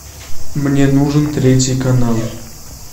мне нужен третий канал